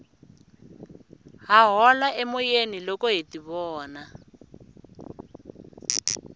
ha hola emoyeni loko hi tivona